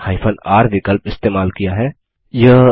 मैंने r विकल्प इस्तेमाल किया है